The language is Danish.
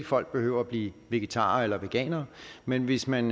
folk behøver at blive vegetarer eller veganere men hvis man